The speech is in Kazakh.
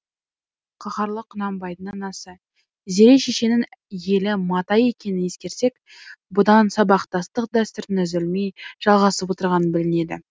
қаһарлы құнанбайдың анасы зере шешенің елі матай екенін ескерсек бұдан сабақтастық дәстүрінің үзілмей жалғасып отырғаны білінеді